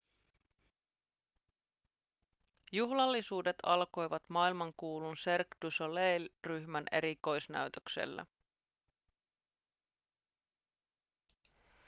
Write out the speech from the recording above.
juhlallisuudet alkoivat maailmankuulun cirque du soleil ryhmän erikoisnäytöksellä